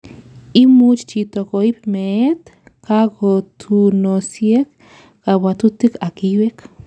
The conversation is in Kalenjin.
imuch chito koib meet, kakotunosiek, kabwatutik ak iywek